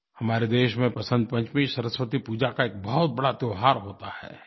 हमारे देश में वसन्त पंचमी सरस्वती पूजा का एक बहुत बड़ा त्योहार होता है